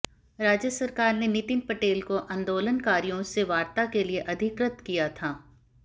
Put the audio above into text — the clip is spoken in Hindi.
राज्य सरकार ने नितिन पटेल को आंदोलनकारियों से वार्ता के लिए अधिकृत किया था